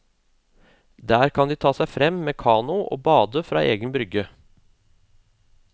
Der kan de ta seg frem med kano og bade fra egen brygge.